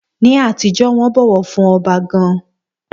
Ní àtijọ́, wọ́n bọ̀wọ̀ fún ọba gan-an.